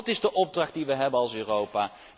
Dat is de opdracht die we hebben als Europa.